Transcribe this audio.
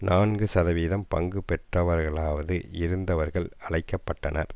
நான்கு சதவிகிதம் பங்கு பெற்றவர்களாவது இருந்தவர்கள் அழைக்க பட்டனர்